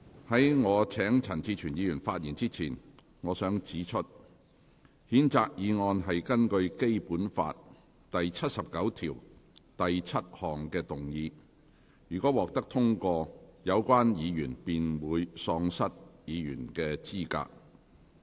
在我請陳志全議員發言之前，我想指出，譴責議案是根據《基本法》第七十九條第七項動議；若獲得通過，有關議員便會喪失議員資格。